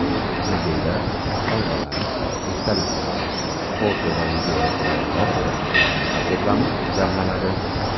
Muzeyda sovg‘alar, esdaliklar, foto va videomateriallar, rasmlar to‘plami jamlanadi.